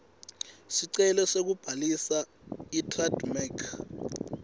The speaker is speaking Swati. sicelo sekubhalisa itrademark